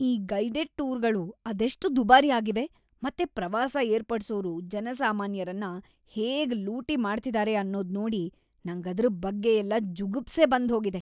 ಈ ಗೈಡೆಡ್ ಟೂರ್ಗಳು ಅದೆಷ್ಟ್ ದುಬಾರಿ ಆಗಿವೆ ಮತ್ತೆ ಪ್ರವಾಸ ಏರ್ಪಡ್ಸೋರು ಜನಸಾಮಾನ್ಯರನ್ನ ಹೇಗ್ ಲೂಟಿ ಮಾಡ್ತಿದಾರೆ ಅನ್ನೋದ್‌ ನೋಡಿ ನಂಗದ್ರ್‌ ಬಗ್ಗೆಯೆಲ್ಲ ಜುಗುಪ್ಸೆ ಬಂದೋಗಿದೆ.